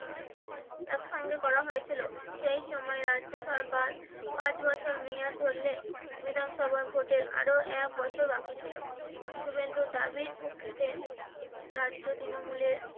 একসঙ্গে করা হয়েছিল সেই সময় রাজ্য সরকার পাঁচ বছর মেয়াদ ধরলে বিধানসভা ভোটের আরো এক বছর বাকি ছিলো শুভেন্দুর দাবির পক্ষে তে রাজ্য তৃণমূলে